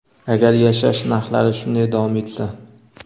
agar yashash narxlari shunday davom etsa.